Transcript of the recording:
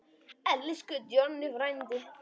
Elsku Jonni frændi.